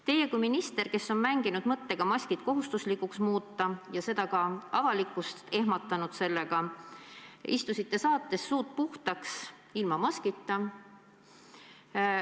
Teie kui minister, kes on mänginud mõttega maskid kohustuslikuks muuta ja sellega ka avalikkust ehmatanud, istusite saates "Suud puhtaks" ilma maskita.